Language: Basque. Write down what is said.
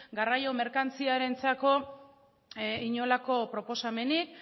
garraio merkantziarentzako inolako proposamenik